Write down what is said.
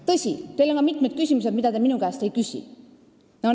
Tõsi, teil on ka mitmeid küsimusi, mida te minu käest ei küsi.